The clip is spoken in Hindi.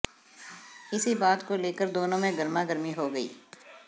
इसी बात को लेकर दोनों में गरमागर्मी हो गई